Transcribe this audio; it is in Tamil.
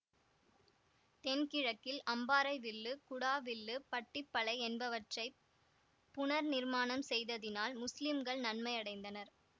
தென்கிழக்கில் அம்பாறை வில்லு குடா வில்லு பட்டிப்பளை என்பவற்றை புனர்நிர்மாணம் செய்ததினால் முஸ்லிம்கள் நன்மையடைந்தனர்